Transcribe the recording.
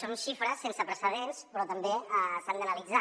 són xifres sense precedents però també s’han d’analitzar